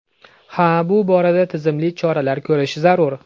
Ha, bu borada tizimli choralar ko‘rish zarur.